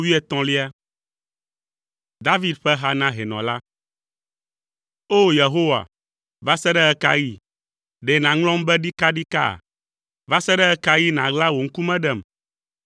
David ƒe ha na hɛnɔ la. O! Yehowa, va se ɖe ɣe ka ɣi? Ɖe nàŋlɔm be ɖikaɖika? Va se ɖe ɣe ka ɣi nàɣla wò ŋkume ɖem?